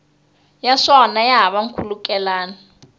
ya swona ya hava nkhulukelano